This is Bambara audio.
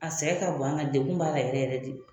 A sɛgɛn ka bon an kan degun b'a la yɛrɛ yɛrɛ de